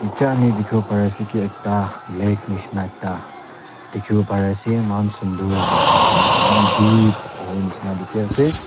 etia ami dikhibo pari ase ki ekta lake nishna ekta dikhibo pare ase moikhan sunder aru pani toh eman deep hobo nisna dikhi na ase.